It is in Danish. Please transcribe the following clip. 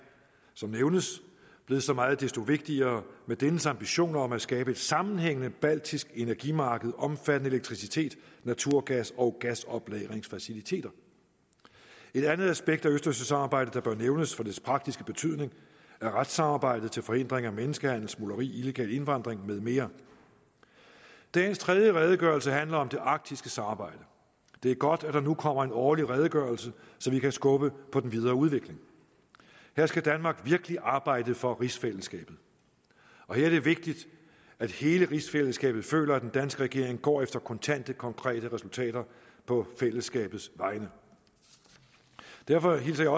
som nævnes blevet så meget desto vigtigere med dennes ambition om at skabe et sammenhængende baltisk energimarked omfattende elektricitet naturgas og gasoplagringsfaciliteter et andet aspekt af østersøsamarbejdet der bør nævnes for dets praktiske betydning er retssamarbejdet til forhindring af menneskehandel smugleri illegal indvandring med mere dagens tredje redegørelse handler om det arktiske samarbejde det er godt at der nu kommer en årlig redegørelse så vi kan skubbe på den videre udvikling her skal danmark virkelig arbejde for rigsfællesskabet og her er det vigtigt at hele rigsfællesskabet føler at den danske regering går efter kontante konkrete resultater på fællesskabets vegne derfor hilser jeg